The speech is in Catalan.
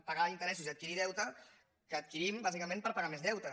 pagar interessos i adquirir deute que adquirim bàsicament per pagar més deute